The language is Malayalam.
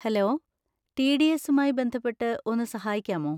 Hello, T. ഡി. എസുമായി ബന്ധപ്പെട്ട് ഒന്ന് സഹായിക്കാമോ?